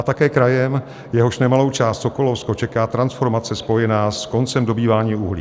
A také krajem, jehož nemalou část, Sokolovsko, čeká transformace spojená s koncem dobývání uhlí.